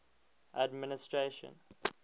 administration